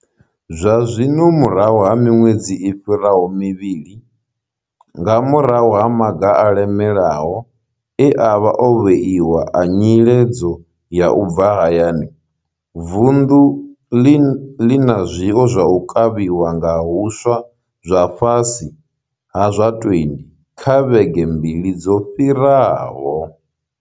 Zwazwino, murahu ha miṅwedzi i fhiraho mivhili nga murahu ha maga a lemelaho e a vha o vheiwa a nyiledzo ya u bva hayani, vunḓu ḽi na zwiwo zwa u kavhiwa nga huswa zwa fhasi ha zwa 20 kha vhege mbili dzo fhiraho.